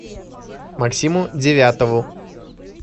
максиму девятову